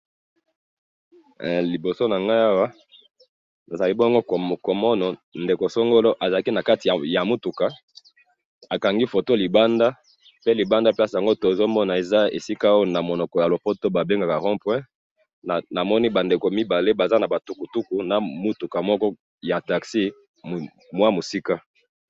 liboso nangai awa nazali bongo komona ndeko songolo azalaki nakati ya mutuka, akangi photo libanda, pe libanda ya place yango, tozomona eza esika oyo namonoko ya lopoto babengaka rond point, namoni ba ndeko mibale baza naba tukutuku, na mutuka moko ya taxi moya musika